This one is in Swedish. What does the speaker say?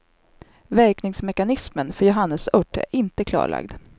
Verkningsmekanismen för johannesört är inte klarlagd.